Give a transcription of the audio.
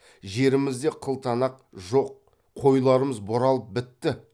жерімізде қылтанақ жоқ қойларымыз бұралып бітті